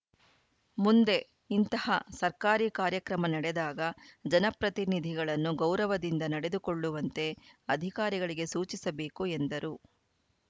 ಮುಂದೆ ಇಂತಹ ಸರ್ಕಾರಿ ಕಾರ್ಯಕ್ರಮ ನಡೆದಾಗ ಜನಪ್ರತಿನಿಧಿಗಳನ್ನು ಗೌರವದಿಂದ ನಡೆದುಕೊಳ್ಳುವಂತೆ ಅಧಿಕಾರಿಗಳಿಗೆ ಸೂಚಿಸಬೇಕು ಎಂದರು